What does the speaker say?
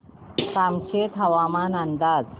कामशेत हवामान अंदाज